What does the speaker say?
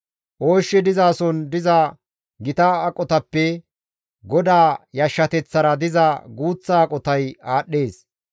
Ooshshi dizason diza gita aqotappe GODAA yashshateththara diza guuththa aqotay aadhdhees.